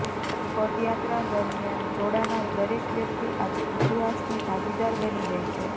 પદયાત્રા દરમિયાન જોડાનાર દરેક વ્યક્તિ આજે ઇતિહાસની ભાગીદાર બની ગઈ છે